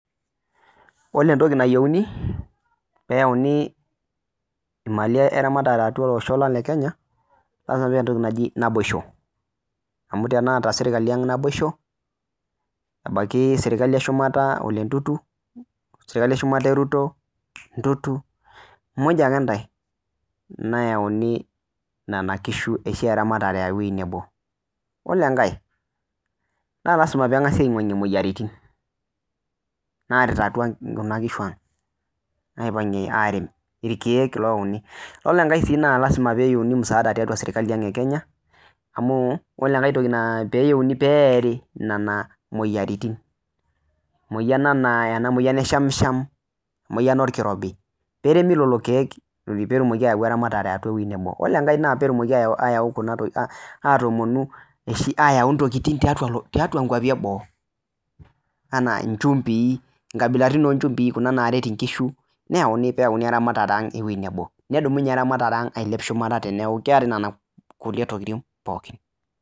Iyiolo entoki nayieuni pee eyauni imali eramatare atua olosho le Kenya, lazima peetae entoki naji naboisho. Amuu teneeta serkali ang' naboisho ebaiki serkali eshumata ebaiki ole Ntutu, srali eshumata e Ruto, Ntutu, mujj ake ntae, neyauni nena kishu ooshi eramatare ewueji nebo. Iyiolo enkae naa lazima peyie eng'asi iwuang'ie imueyiaritin naarita kuna kishu ang', irkeek loyauni, iyiolo enkae naa lazima peyie eyieuni msaada tiatua serkali ang' e kenya, peyie eiari nena mueyiaritin. Emueyian enaa ena mueyian e shamsham, emueyian orkirobi pee eremi lelo keek pee. Oore enkae e uni naa pee eidimi ayau intokitin eing'uaa iloshon le boo enaa inchumbii inchumbii napaashipaasha pee etumoki eramatare ang' ailepu.